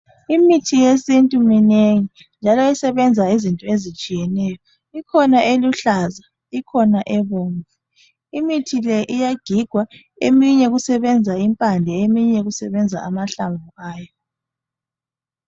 Imithi yesintu minengi njalo iyasebenza izinto ezitshiyeneyo. Ikhona eluhlaza ,ikhona ebomvu . Imithi le iyagigwa, eminye okusebenza impande eminye kusebenza amahlamvu ayo .